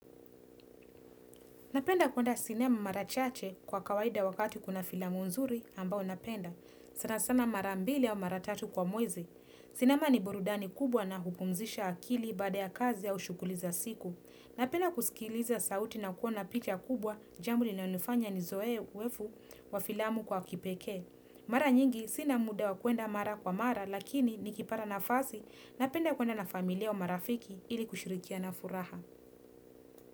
Napenda kuenda sinema marachache kwa kawaida wakati kuna filamu nzuri ambao napenda. Sana sana marambili au mara tatu kwa mwezi. Sinema ni borudani kubwa na hupumzisha akili baada ya kazi ya ushughuli za siku. Napenda kusikiliza sauti na kuona picha kubwa jambo linalonifanya ni zoe uzoefu wa filamu kwa kipekee. Mara nyingi sina muda wa kuenda mara kwa mara lakini nikipata nafasi napenda kuenda na familia wa marafiki ili kushurikiana na furaha.